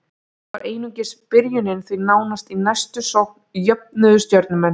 Þetta var einungis byrjunin, því nánast í næstu sókn jöfnuðu Stjörnumenn.